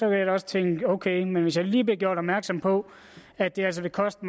jeg da også tænke jo ok men hvis jeg lige blev gjort opmærksom på at det altså ville koste